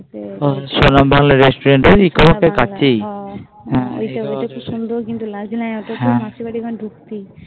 ভালো Restaurant eco park কাছেই হু ওইটা একটা সুন্দর কিন্তু কাছেই মাসির ওখানে বাড়ি ঢুকতে